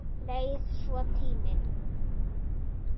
Leið svo tíminn.